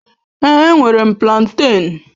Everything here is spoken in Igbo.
Èé, enwere m plantén